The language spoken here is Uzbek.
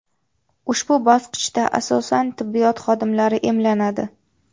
Ushbu bosqichda asosan tibbiyot xodimlari emlanadi.